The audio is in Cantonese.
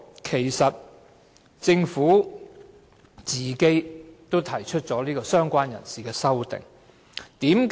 其間，政府也提出了"相關人士"的修正案。